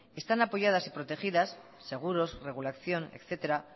están apoyadas y protegidas seguros regulación etcétera